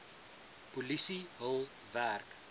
polisie hul werk